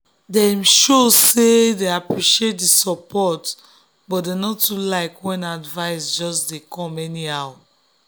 dem show say dem appreciate the support but dem no too like when advice just dey come anyhow.